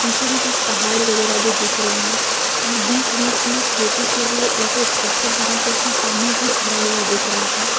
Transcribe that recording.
पीछे में कुछ पहाड़ वगैरह भी दिख रहे हैं और बीच बीच में खेती के लिए ऐसे स्ट्रक्चर बना के उसमें पानी भी भरा हुआदिख रहा है।